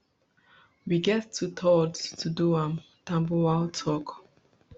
we get twothirds to do am tambuwal tok